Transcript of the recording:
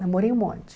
Namorei um monte.